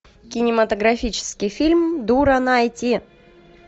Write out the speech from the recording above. кинематографический фильм дура найти